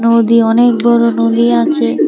নদী অনেক বড়ো নদী আছে।